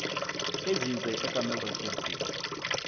enzinze ekameelrivier b